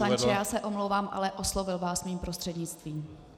Pane poslanče, já se omlouvám, ale oslovil vás mým prostřednictvím.